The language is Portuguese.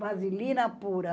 Vasilina pura.